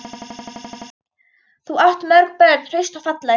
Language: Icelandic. Þú átt mörg börn, hraust og falleg.